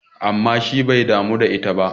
amma shi bai damu da ita ba!